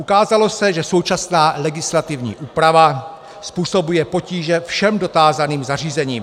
Ukázalo se, že současná legislativní úprava způsobuje potíže všem dotázaným zařízením.